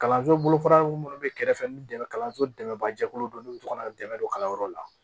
Kalanso bolo fara minnu bɛ kɛrɛfɛ ni dɛmɛ kalanso dɛmɛ jɛkulu dɔ n'u bɛ to ka dɛmɛ don kalanyɔrɔ la